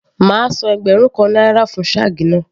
Màá san ẹgbẹ̀rún kan náírà fún shag náà.